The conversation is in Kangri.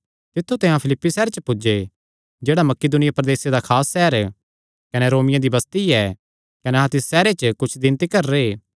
तित्थु ते अहां फिलिप्पी सैहरे पुज्जे जेह्ड़ा मकिदुनिया प्रदेसे दा खास सैहर कने रोमियां दी बस्ती ऐ कने अहां तिस सैहरे च कुच्छ दिन तिकर रैह्